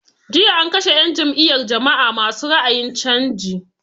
Jiya an kashe 'yan n jam'iyar jama'a ma su ra'ayin canji.